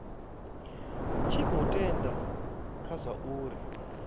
tshi khou tenda kha zwauri